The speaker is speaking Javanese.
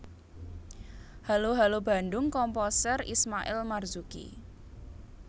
Halo Halo Bandung Komposer Ismail Marzuki